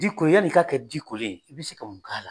Di kore yanni i ka kɛ di kole ye i bɛ se ka mun k'a la?